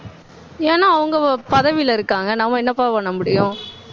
ஏன்னா, அவங்க பதவியில இருக்காங்க. நம்ம என்னப்பா பண்ண முடியும்